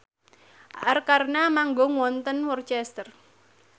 Arkarna manggung wonten Worcester